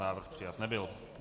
Návrh přijat nebyl.